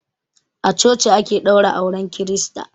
A coci ake ɗaura auren kirista.